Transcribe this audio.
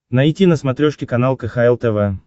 найти на смотрешке канал кхл тв